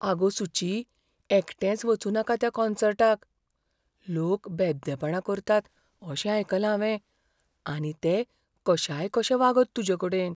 आगो सुची. एकटेंच वचूं नाका त्या कॉन्सर्टाक. लोक बेबदेपणां करतात अशें आयकलां हांवें आनी ते कशायकशे वागत तुजेकडेन.